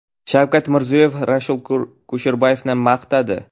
Shavkat Mirziyoyev Rasul Kusherbayevni maqtadi.